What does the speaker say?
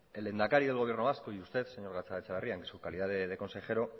el lehendakari del gobierno vasco y usted señor gatzagaetxebarria en su calidad de consejero